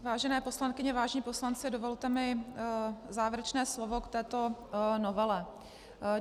Vážené poslankyně, vážení poslanci, dovolte mi závěrečné slovo k této novele.